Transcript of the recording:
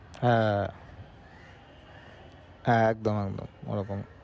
হ্যা একদম একদম ওরকমি